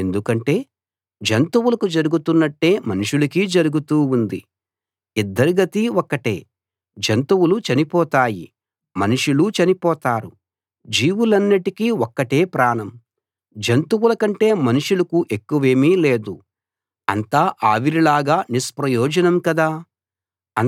ఎందుకంటే జంతువులకు జరుగుతున్నట్టే మనుషులకీ జరుగుతూ ఉంది ఇద్దరి గతీ ఒక్కటే జంతువులు చనిపోతాయి మనుషులూ చనిపోతారు జీవులన్నిటికీ ఒక్కటే ప్రాణం జంతువుల కంటే మనుషులకు ఎక్కువేమీ లేదు అంతా ఆవిరిలాగా నిష్ప్రయోజనం కదా